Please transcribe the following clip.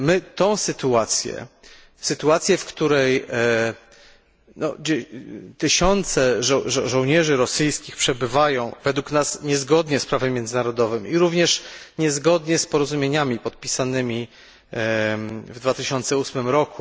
Tę sytuację, w której tysiące żołnierzy rosyjskich przebywają, według nas, niezgodnie z prawem międzynarodowym i również niezgodnie z porozumieniami podpisanymi w 2008 r.